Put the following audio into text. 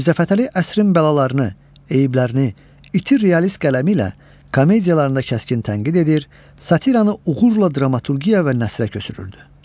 Mirzəfətəli əsrin bəlalarını, eyiblərini, iti realist qələmi ilə komediyalarında kəskin tənqid edir, satiranı uğurla dramaturgiya və nəsrə köçürürdü.